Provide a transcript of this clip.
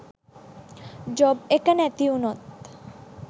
job එක නැතිවුනොත්